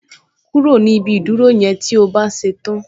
Kúrò ni ibi ìdúró yẹn tí o bá ṣe tán